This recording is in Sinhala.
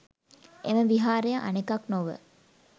එම විහාරය අනෙකක් නොව